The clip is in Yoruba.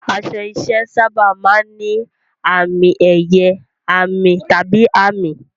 Aṣọ iṣẹ́ sábà máa ń ní àmì-ẹ̀yẹ, àmì, tàbí àmì.